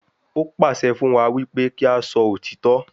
Ó pàṣẹ fún wa wípé kí a sọ òtítọ́